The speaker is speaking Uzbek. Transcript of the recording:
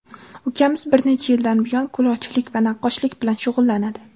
Ukamiz bir necha yildan buyon kulolchilik va naqqoshlik bilan shug‘ullanadi.